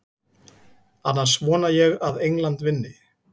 Annars vona ég að England vinni.